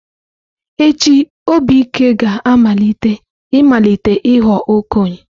Echi, Obike ga-amalite ịmalite ịghọ okenye.